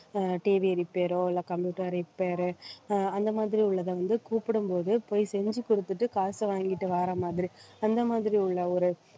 அஹ் TVrepair ஓ இல்லை computer repair அஹ் அந்த மாதிரி உள்ளத வந்து கூப்பிடும்போது போய் செஞ்சு கொடுத்துட்டு காசை வாங்கிட்டு வார மாதிரி அந்த மாதிரி உள்ள ஒரு